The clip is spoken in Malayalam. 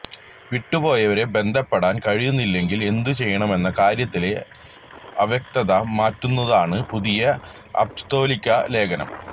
വിട്ടുപോയവരെ ബന്ധപ്പെടാന് കഴിയുന്നില്ലെങ്കില് എന്തു ചെയ്യണമെന്ന കാര്യത്തിലെ അവ്യക്തത മാറ്റുന്നതാണ് പുതിയ അപ്പസ്തോലിക ലേഖനം